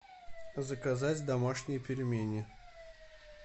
заказать домашние пельмени